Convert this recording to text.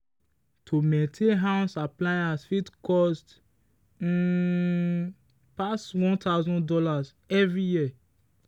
to maintain house appliance fit cost um pass one thousand dollars every year.